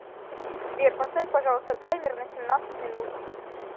сбер поставь пожалуйста таймер на семнадцать минут